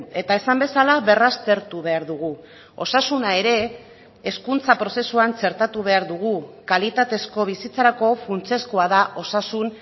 eta esan bezala berraztertu behar dugu osasuna ere hezkuntza prozesuan txertatu behar dugu kalitatezko bizitzarako funtsezkoa da osasun